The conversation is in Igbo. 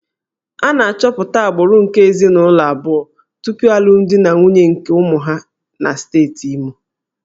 A na-achọpụta agbụrụ nke ezinụlọ abụọ tupu alụmdi na nwunye nke ụmụ ha na steeti Imo